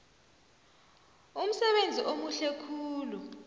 umsebenzi omuhle khulu